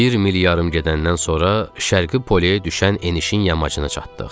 Bir mil yarım gedəndən sonra Şərqi polyeyə düşən enişin yamacına çatdıq.